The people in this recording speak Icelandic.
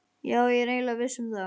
Já, ég er eiginlega viss um það